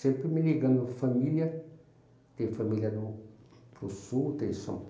Sempre me ligando família, tem família no para o sul, tem em São